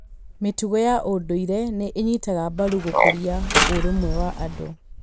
Mĩtugo ya ũndũire nĩ ĩnyitaga mbaru gũkũria ũrũmwe wa andũ.